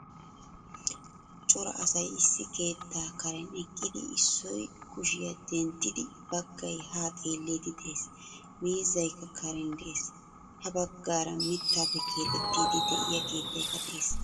Cora asay issi keettaa karen eqqidi issoy kushiyaa denttidi baggaay ha xeelidi de'ees. Miizzaykka karen de'ees. Ha baggaara mittappe keexxettidi de'iyaa keettaykka de'ees.